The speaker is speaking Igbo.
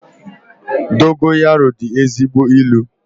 Dogoyaru dị ezigbo ị́lu